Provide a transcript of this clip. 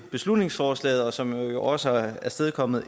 beslutningsforslaget som jo også har afstedkommet